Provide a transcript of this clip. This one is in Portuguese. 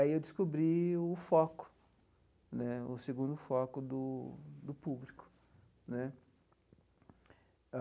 Aí eu descobri o foco né, o segundo foco do do público né.